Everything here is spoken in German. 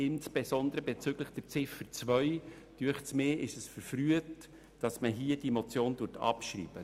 Insbesondere bezüglich Ziffer 2 ist es daher verfrüht, die Motion abzuschreiben.